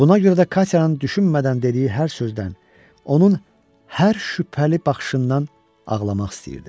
Buna görə də Katyanın düşünmədən dediyi hər sözdən, onun hər şübhəli baxışından ağlamaq istəyirdim.